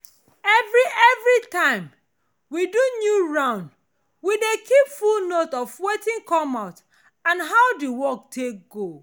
every every time we do new round we dey keep full note of wetin come out and how the work take go.